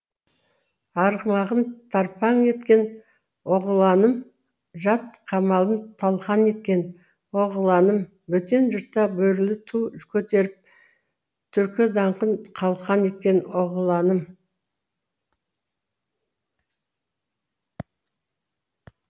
арғымағын тарпаң еткен оғланым жат қамалын талқан еткен оғланым бөтен жұртта бөрілі ту көтеріп түркі даңқын қалқан еткен оғланым